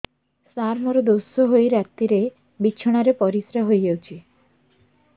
ସାର ମୋର ଦୋଷ ହୋଇ ରାତିରେ ବିଛଣାରେ ପରିସ୍ରା ହୋଇ ଯାଉଛି